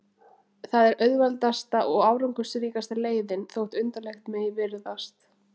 Það er auðveldasta og árangursríkasta leiðin, þótt undarlegt megi virðast.